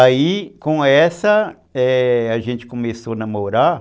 Aí, com essa, é, a gente começou a namorar.